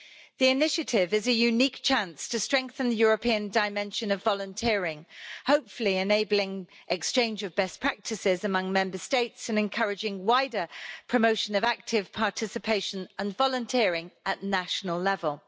The initiative is a unique chance to strengthen the European dimension of volunteering, hopefully enabling exchange of best practices among Member States and encouraging wider promotion of active participation and volunteering at national level.